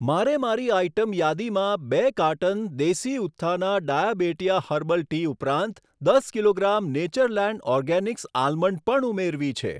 મારે મારી આઇટમ યાદીમાં બે carton Desi Utthana Diabetea herbal tea ઉપરાંત દસ કિલોગ્રામ નેચરલેન્ડ ઓર્ગેનિક્સ આલમંડ પણ ઉમેરવી છે.